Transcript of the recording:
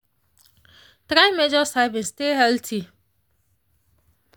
try measure servings stay healthy.